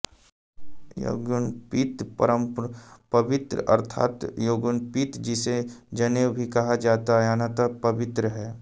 यज्ञोपवीतं परमं पवित्रं अर्थात् यज्ञोपवीत जिसे जनेऊ भी कहा जाता है अत्यन्त पवित्र है